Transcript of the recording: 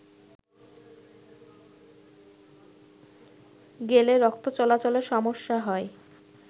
গেলেরক্তচলাচলে সমস্যা হয়